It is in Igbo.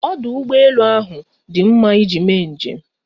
Ọdụ ụgbọelu ahụ dị mma iji mee njem.